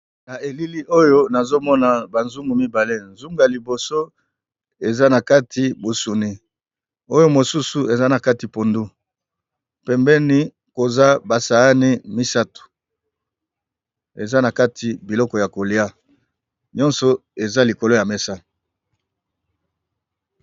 Na elili oyo nazomona ba nzungu mibale, nzungu ya liboso eza nakati mosuni oyo misusu ezanaka pondu pembeni oza ba sahani nisatu eanakati biloko yakolia nyoso eza likolo ya mesa.